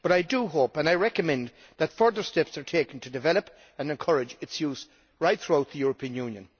I hope and recommend that further steps are taken to develop and encourage its use throughout the European Union.